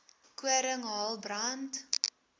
koring hael brand